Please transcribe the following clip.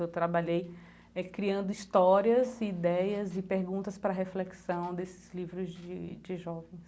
Eu trabalhei eh criando histórias, ideias e perguntas para a reflexão desses livros de de jovens.